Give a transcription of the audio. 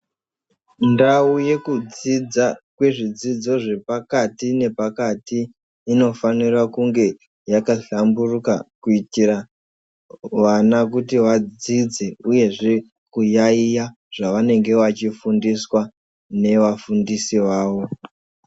Ndau yekudzidza kwezvidzidzo zvepakati nepakati inofanira kunge yakahlamburuka kuitira vana kuti vadzidze uyezve kuyaiya zvavanenge zvachifundiswa nevafundisi vavo.